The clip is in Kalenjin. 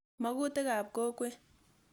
Makutik ap kokwet.